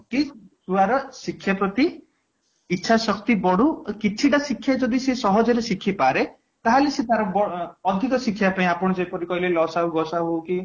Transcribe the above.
କି ୟାର ର ଶିକ୍ଷା ପ୍ରତି ଇଛା ଶକ୍ତି ବଢ଼ୁ କିଛି ଟା ଶିକ୍ଷା ଯଦି ସେ ସହଜରେ ଶିଖିପାରେ ତାହେଲେ ସିଏ ତାର ଅଧିକ ଶିଖିବାକୁ ଆପଣ ଯେପରି କହିଲେ ଲସାଗୁ ଗସାଗୁ କି